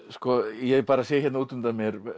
ég bara sé hérna út undan mér